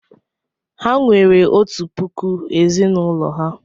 Ha enwere otu puku ezì n'ụlọ ha?